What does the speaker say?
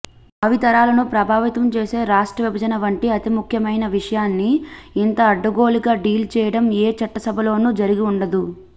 భావితరాలను ప్రభావితం చేసే రాష్ట్రవిభజన వంటి అతి ముఖ్యమైన విషయాన్ని యింత అడ్డగోలుగా డీల్ చేయడం ఏ చట్టసభలోనూ జరిగివుండదు